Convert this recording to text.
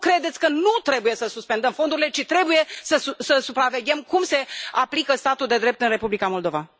Nu credeți că nu trebuie să suspendăm fondurile, ci trebuie să supraveghem cum se aplică statul de drept în Republica Moldova?